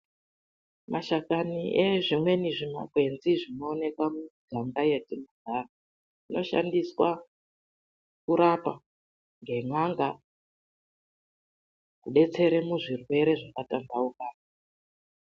MASHAKANI EZVIMWENI ZVIMAGWENZI ZVINOONEKA MUMUGANGA MATINOGARA ZVINOSHANDISWA KURAPA NGEN'ANGA KUBETSERE MUZVIRWERE ZVAKATANDAUKA.